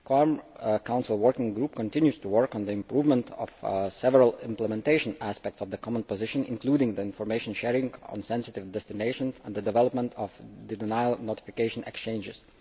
The COARM Council working party continues to work on the improvement of several implementation aspects of the common position, including information sharing on sensitive destinations and the development of denial notification exchanges.